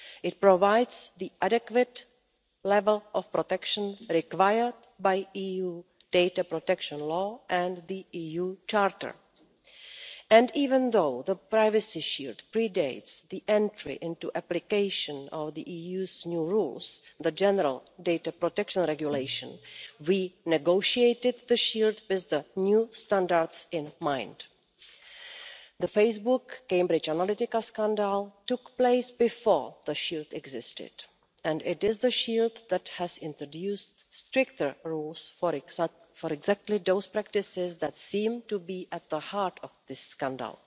It provides the adequate level of protection required by EU data protection law and the EU Charter, and even though the Privacy Shield predates the entry into application of the EU's new rules, the General Data Protection Regulation, we negotiated the Shield with the new standards in mind. The Facebook Cambridge Analytica scandal took place before the Shield existed, and it is the Shield that has introduced stricter rules for exactly those practices that seem to be at the heart of this scandal.